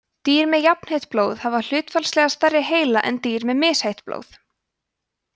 dýr með jafnheitt blóð hafa hlutfallslega stærri heila en dýr með misheitt blóð